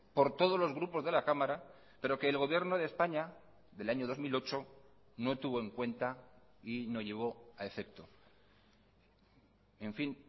por todos los grupos de la cámara pero que el gobierno de españa del año dos mil ocho no tuvo en cuenta y no llevó a efecto en fin